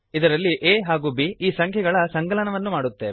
ಇದರಲ್ಲಿ a ಹಾಗೂ B ಈ ಸಂಖ್ಯೆಗಳ ಸಂಕಲನವನ್ನು ಮಾಡುತ್ತೇವೆ